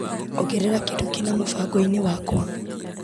Ongerera kĩndũ kĩna mũbango-inĩ wakwa .